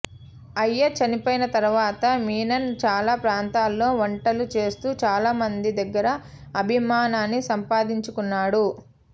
అయ్యర్ చనిపోయిన తర్వాత మీనన్ చాలా ప్రాంతాల్లో వంటలు చేస్తూ చాలామంది దగ్గర అభిమానాన్ని సంపాదించుకున్నాడు